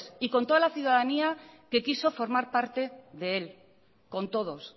y con toda la ciudadanía que quiso formar parte de él con todos